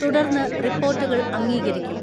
തുടർന്ന് റിപ്പോർട്ടുകൾ അംഗീകരിക്കും.